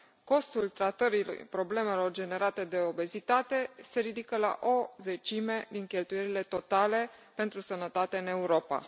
Costul tratării problemelor generate de obezitate se ridică la o zecime din cheltuielile totale pentru sănătate în Europa.